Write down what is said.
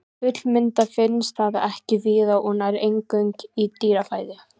Fullmyndað finnst það ekki víða og nær eingöngu í dýrafæðu.